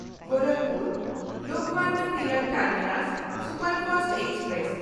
ᱜᱳᱨᱟᱠᱷᱯᱩᱨ-ᱞᱳᱠᱢᱟᱱᱱᱚ Tilak terminus superfast express